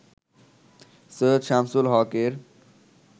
Syed Shamsul হক-এর